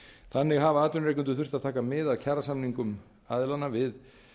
þannig hafa atvinnurekendur þurft að taka mið af kjarasamningum aðilanna við